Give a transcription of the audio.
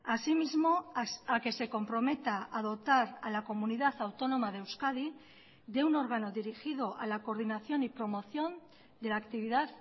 asimismo a que se comprometa a dotar a la comunidad autónoma de euskadi de un órgano dirigido a la coordinación y promoción de la actividad